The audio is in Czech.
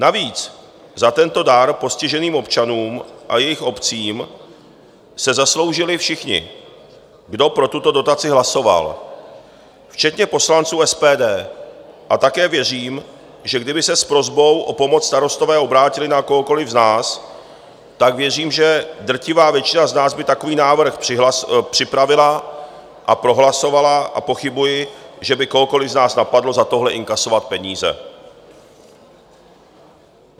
Navíc za tento dar postiženým občanům a jejich obcím se zasloužili všichni, kdo pro tuto dotaci hlasovali, včetně poslanců SPD, a také věřím, že kdyby se s prosbou o pomoc Starostové obrátili na kohokoliv z nás, tak věřím, že drtivá většina z nás by takový návrh připravila a prohlasovala, a pochybuji, že by kohokoliv z nás napadlo za tohle inkasovat peníze.